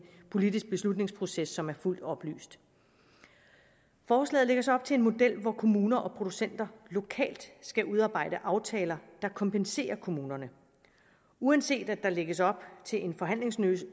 politisk beslutningsproces som er fuldt oplyst forslaget lægger så op til en model hvor kommuner og producenter lokalt skal udarbejde aftaler der kompenserer kommunerne uanset at der lægges op til en forhandlingsløsning